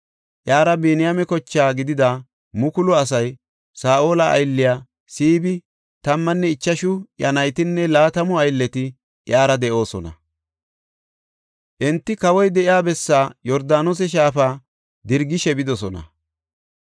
Iyara Biniyaame koche gidida mukulu asay, Saa7ola aylley Siibi, tammanne ichashu iya naytinne laatamu aylleti iyara de7oosona. Enti kawoy de7iya bessaa Yordaanose shaafa dirgishe bidosona.